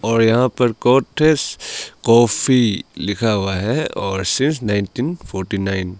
और यहां पर कोठेस कॉफी लिखा हुआ है और सीन्स नाइनटीन फॉरटी नाइन ।